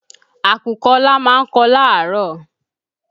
Àkùkọ Ọlá ma ń kọ láàárọ̀.